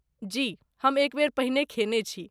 जी, हम एक बेर पहिने खेने छी।